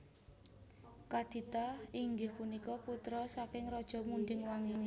Kadita inggih punika putra saking Raja Munding Wangi